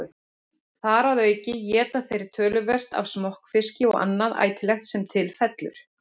Þar að auki éta þeir töluvert af smokkfiski og annað ætilegt sem til fellur.